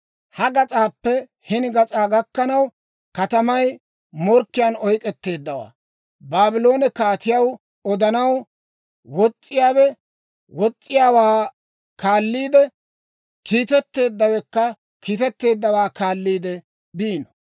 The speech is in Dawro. Ha gas'aappe hini gas'aa gakkanaw, katamay morkkiyaan oyk'k'etteeddawaa Baabloone kaatiyaw odanaw, wos's'iyaawe wos's'iyaawaa kaalliide, kiitetteeddawekka kiitetteeddawaa kaalliide biino.